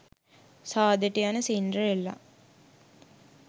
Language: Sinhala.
සාදෙට යන සින්ඩරෙල්ලා